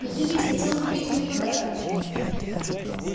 но ты ведь хотел купить мне подарок